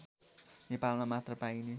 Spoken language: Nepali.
नेपालमा मात्र पाइने